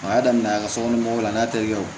A y'a daminɛ a ka sokɔnɔ mɔgɔw la a n'a terikɛ o